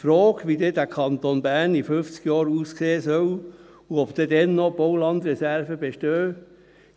Die Frage, wie dieser Kanton Bern in fünfzig Jahren aussehen soll und ob dann noch Baulandreserven bestehen werden: